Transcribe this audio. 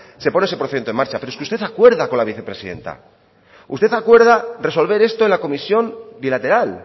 se pone ese procedimiento en marcha pero es que usted acuerda con la vicepresidenta usted acuerda resolver esto en la comisión bilateral